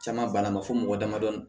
Caman banna a ma fɔ mɔgɔ damadɔni